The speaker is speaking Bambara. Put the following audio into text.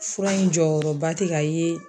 Fura in jɔyɔrɔba tɛ ka ye.